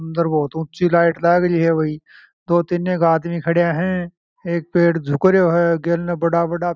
बहुत ऊँची लाइट लगी है दो तीन आदमी खड़े है एक पेड़ झुक रहे है गेला ने बड़े बड़े --